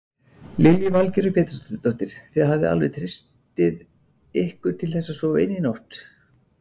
Lillý Valgerður Pétursdóttir: Þið hafið alveg treysti ykkur til þess að sofa inni í nótt?